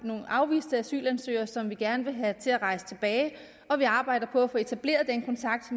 nogle afviste asylansøgere som vi gerne vil have til at rejse tilbage og vi arbejder på at få etableret den kontakt